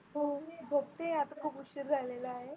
हो मी झोपते आता खूप उशीर झालेला आहे.